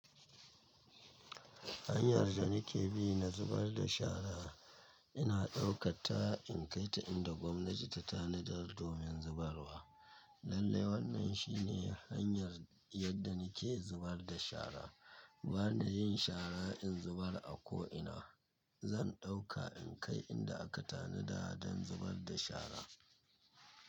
Hanyar da nike bi na zubar da shara ina ɗaukatta in kai ta inda gwamnati ta tanadar domin zubarwa. Lallai wannan shine hanyar yadda nake zubar da shara. Ba na yin shara in zubar a ko'ina. Zan ɗauka in kai inda aka tanada don zubar da shara.